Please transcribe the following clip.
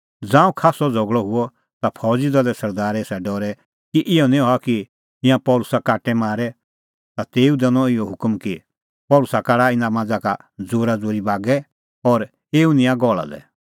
ज़ांऊं खास्सअ झ़गल़अ हुअ ता फौज़ी दले सरदारै एसा डरै कि इहअ निं हआ कि ईंयां पल़सी काटे मारे ता तेऊ दैनअ इहअ हुकम कि पल़सी काढा इना मांझ़ा का ज़ोराज़ोरी बागै और एऊ निंयां गहल़ा लै